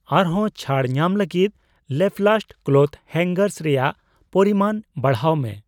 ᱟᱨ ᱦᱚᱸ ᱪᱷᱟᱹᱲ ᱧᱟᱢ ᱞᱟᱹᱜᱤᱛ ᱞᱟᱯᱞᱟᱥᱴ ᱠᱞᱳᱛᱷ ᱦᱮᱝᱜᱟᱨᱥ ᱨᱮᱭᱟᱜ ᱯᱚᱨᱤᱢᱟᱱ ᱵᱟᱲᱦᱟᱣ ᱢᱮ ᱾